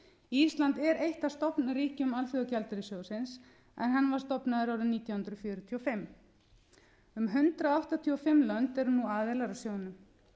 ísland er eitt af stofnríkjum alþjóðagjaldeyrissjóðsins en hann var stofnaður árið nítján hundruð fjörutíu og fimm um hundrað áttatíu og fimm lönd eru nú aðilar að sjóðnum